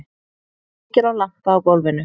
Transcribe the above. Kveikir á lampa á gólfinu.